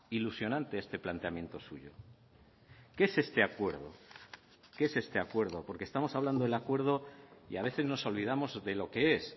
ilusionante este planteamiento suyo qué es este acuerdo qué es este acuerdo porque estamos hablando del acuerdo y a veces nos olvidamos de lo que es